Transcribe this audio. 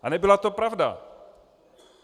A nebyla to pravda.